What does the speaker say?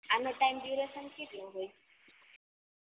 આનો time duration કેટલો હોય